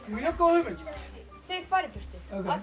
mjög góð hugmynd þeir fara í burtu